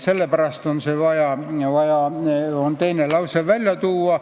Sellepärast on see teine lause vajalik.